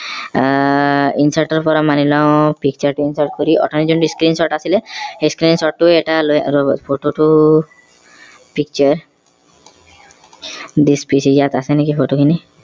আহ insert ৰ পৰা মানি লওঁ picture insert কৰি অঠনি যোনটো screen shot আছিলে সেই screen shot টো এটা লৈ ৰব photo টো picture this PC ইয়াত আছে নেকি Photo খিনি